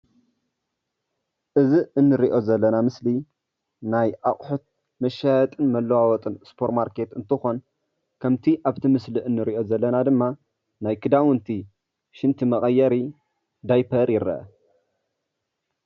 እዚ እንርእዮ ዘለና ምስሊ ናይ አቁሑት መሻያየጢን መለዋወጢን ሱፐር ማርኬት እንትኾን ከምቲ አብቲ ምስሊ እንርእዮ ዘለና ደሞ ናይ ክዳውንቲ ሽንቲ መቀየሪ ደይፐር ይረአ::